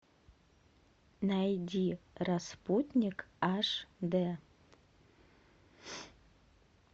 найди распутник аш де